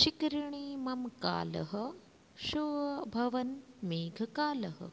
शिखरिणि मम कालः सोऽभवन् मेघकालः